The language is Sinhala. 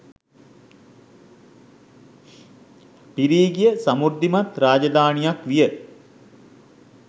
පිරී ගිය සමෘද්ධිමත් රාජධානියක් විය.